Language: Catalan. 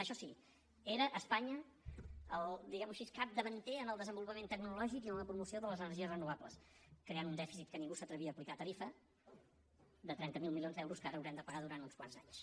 això sí era espanya el diguemho així capdavanter en el desenvolupament tecnològic i en la promoció de les energies renovables creant un dèficit que ningú s’atrevia a aplicar tarifa de trenta miler milions d’euros que ara haurem de pagar durant uns quants anys